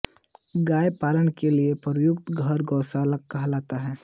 गाय पालन के लिए प्रयुक्त घर गौशाला कहलाता है